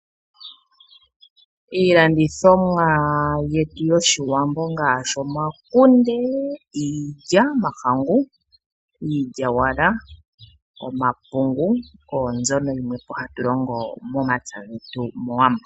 Iilandithomwa yetu yOshiwmbo ngaashi omakunde, iilya yomahangu, iilyaalyaaka nomapungu, oyo mbyono hatu longo momapya getu mOwambo.